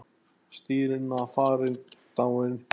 Stína farin, dáin.